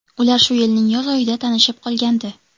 Ular shu yilning yoz oyida tanishib qolgandi.